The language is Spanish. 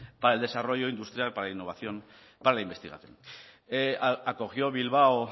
para el desarrollo industrial para la innovación para la investigación acogió bilbao